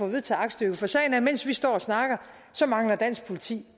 at vedtage aktstykket for sagen er at mens vi står og snakker mangler dansk politi